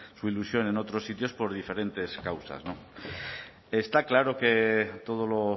su ilusión en otros sitios por diferentes causas está claro que todo lo